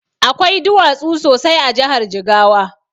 Akwai duwatsu sosai a jahar jigawa